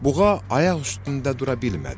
Buğa ayaq üstündə dura bilmədi.